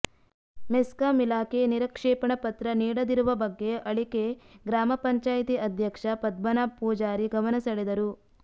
ಮೆಸ್ಕಾಂ ಇಲಾಖೆ ನಿರಕ್ಷೇಪಣಾ ಪತ್ರ ನೀಡದಿರುವ ಬಗ್ಗೆ ಅಳಿಕೆ ಗ್ರಾಮ ಪಂಚಾಯಿತಿ ಅಧ್ಯಕ್ಷ ಪದ್ಮನಾಭ ಪೂಜಾರಿ ಗಮನ ಸೆಳೆದರು